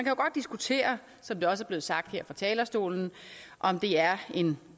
jo godt diskutere som det også er blevet sagt her fra talerstolen om det er en